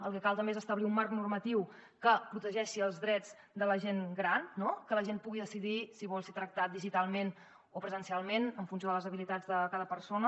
el que cal també és establir un marc normatiu que protegeixi els drets de la gent gran no que la gent pugui decidir si vol ser tractat digitalment o presencialment en funció de les habilitats de cada persona